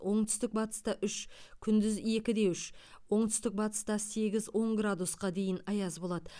оңтүстік батыста үш күндіз екі де үш оңтүстік батыста сегіз он градусқа дейін аяз болады